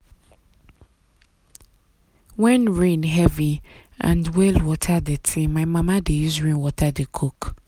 when rain heavy and well water dirty my mama dey use rainwater dey cook.